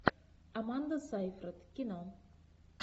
аманда сейфрид кино